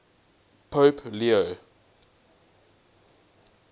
pope leo